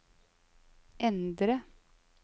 endre